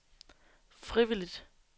frivilligt